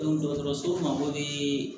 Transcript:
dɔgɔtɔrɔso mako be